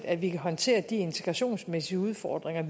at vi kan håndtere de integrationsmæssige udfordringer